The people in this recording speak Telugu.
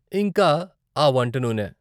ఇంకా ఆ వంట నూనె!